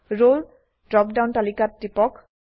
ৰলে drop down তালিকাত টিপক